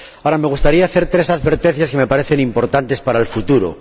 Ahora bien, me gustaría hacer tres advertencias que me parecen importantes para el futuro.